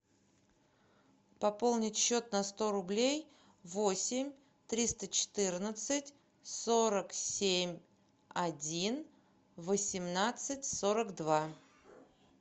пополнить счет на сто рублей восемь триста четырнадцать сорок семь один восемнадцать сорок два